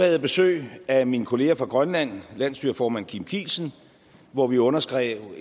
jeg besøg af min kollega fra grønland landsstyreformand kim kielsen hvor vi underskrev en